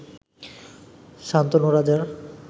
শান্তনু রাজার